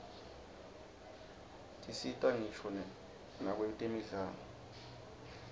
tisita ngisho nakwtemidlalo